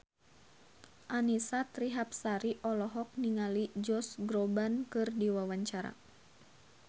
Annisa Trihapsari olohok ningali Josh Groban keur diwawancara